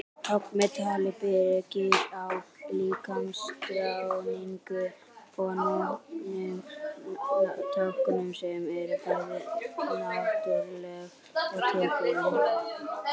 Tákn með tali byggir á líkamstjáningu og notkun tákna sem eru bæði náttúruleg og tilbúin.